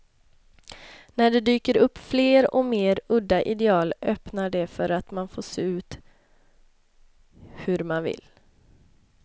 När det dyker upp fler och mer udda ideal öppnar det för att man får se ut hur man vill.